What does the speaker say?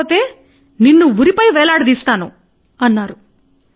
లేదంటే నేను రేపు నిన్ను ఉరి పై వేలాడదీస్తాను అన్నాడు